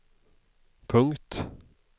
punkt